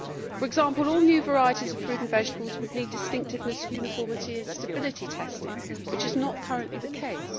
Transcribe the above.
For example, all new varieties of fruit and vegetables would need distinctiveness, uniformity and stability testing, which is not currently the case.